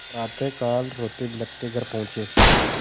प्रातःकाल रोतेबिलखते घर पहुँचे